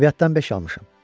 Ədəbiyyatdan beş almışam.